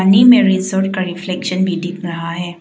Resort का reflection भी दिख रहा है।